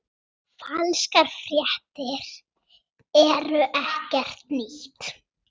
Falskar fréttir eru ekkert nýtt.